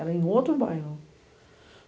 Era em outro bairro.